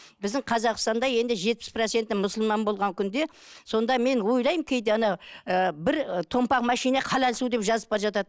біздің қазақстанда енді жетпіс проценті мұсылман болған күнде сонда мен ойлаймын кейде ана ы бір томпақ машина халал су деп жазып бара жатады